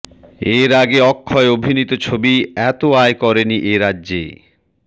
এর আগে অক্ষয় অভিনীত ছবি এত আয় করেনি এ রাজ্যে